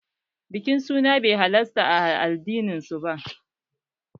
Bikin suna bai halarta ba a addinin su